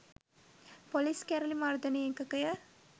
police කැරළි මර්දන ඒකකය